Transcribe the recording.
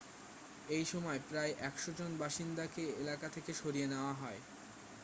এই সময় প্রায় 100 জন বাসিন্দাকে এলাকা থেকে সরিয়ে নিয়ে যাওয়া হয়